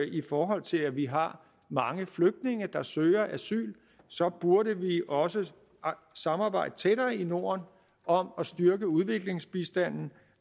i forhold til at vi har mange flygtninge der søger asyl så burde vi også samarbejde tættere i norden om at styrke udviklingsbistanden